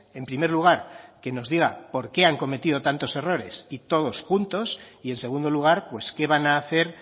en primer lugar que nos diga por qué han cometido tantos errores y todos juntos y en segundo lugar pues qué van a hacer